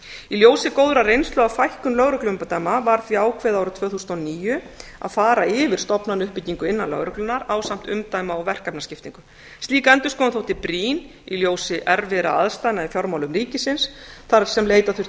í ljósi góðrar reynslu af fækkun lögregluumdæma var því ákveðið árið tvö þúsund og níu að fara yfir stofnanauppbyggingu innan lögreglunnar ásamt umdæma og verkefnaskiptingu slík endurskoðun þótti brýn í ljósi erfiðra aðstæðna í fjármálum ríkisins þar sem leita þurfti